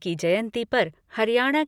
की जयंती पर हरियाणा